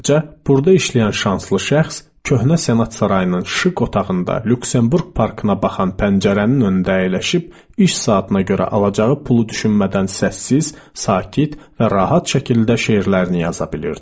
Eləcə, burda işləyən şanslı şəxs köhnə senat sarayının işıq otağında Lüksemburq parkına baxan pəncərənin öndə əyləşib iş saatına görə alacağı pulu düşünmədən səssiz, sakit və rahat şəkildə şeirlərini yaza bilirdi.